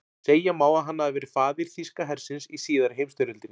Segja má að hann hafi verið faðir þýska hersins í síðari heimsstyrjöldinni.